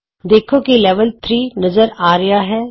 ਦੇਖੋ ਕੀ ਲੈਵਲ 3 ਨਜ਼ਰ ਆ ਰਿਹਾ ਹੈ